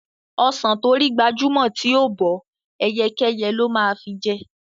Ọsàn tó rí gbajúmọ̀ tí ò bọ́, ẹyẹkẹ́yẹ ló máa fi jẹ.